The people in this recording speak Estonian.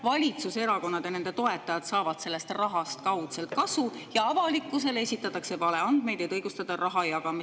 Valitsuserakonnad ja nende toetajad saavad sellest rahast kaudselt kasu ja avalikkusele esitatakse valeandmeid, et õigustada raha jagamist.